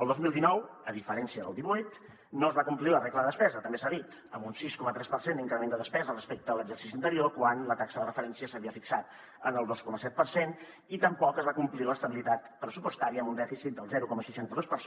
el dos mil dinou a diferència del divuit no es va complir la regla de despesa també s’ha dit amb un sis coma tres per cent d’increment de despesa respecte a l’exercici anterior quan la taxa de referència s’havia fixat en el dos coma set per cent i tampoc es va complir l’estabilitat pressupostària amb un dèficit del zero coma seixanta dos per